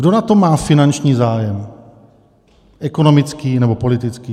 Kdo na tom má finanční zájem, ekonomický nebo politický?